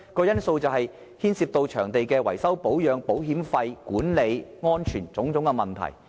因為牽涉到場地的維修、保養、保險費、管理及安全等種種的問題。